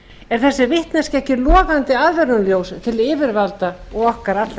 er þessi vitneskja ekki logandi aðvörunarljós til yfirvalda og okkar allra